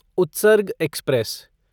Utsarg express